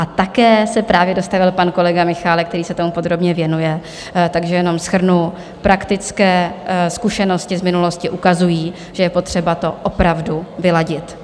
A také se právě dostavil pan kolega Michálek, který se tomu podrobně věnuje, takže jenom shrnu - praktické zkušenosti z minulosti ukazují, že je potřeba to opravdu vyladit.